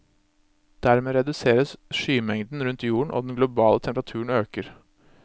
Dermed reduseres skymengden rundt jorden og den globale temperaturen øker.